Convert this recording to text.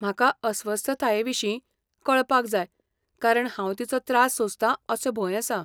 म्हाका अस्वस्थताये विशीं कळपाक जाय कारण हांव तिचो त्रास सोंसतां असो भंय आसा.